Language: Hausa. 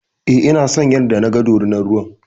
E, ina son yanda naga dorinar ruwan.